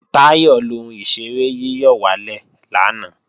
Táyọ̀ lọ ohun ìṣeré yíyọ̀wálè lanay